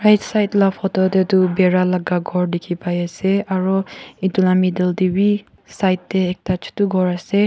side la photo deh du bhera laga ghor dikhi pai asey aro etu la middle deh wi side deh ekta chutu ghor asey.